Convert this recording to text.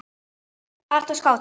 Alltaf skáti.